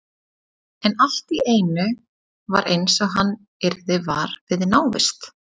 En allt í einu var eins og hann yrði var við návist